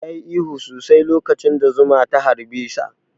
Ya yi ihu sosai lokacin da zuma ta harɓe sa